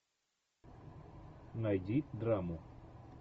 найди драму